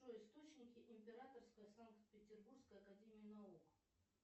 джой источники императорской санкт петербуржской академии наук